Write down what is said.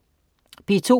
P2: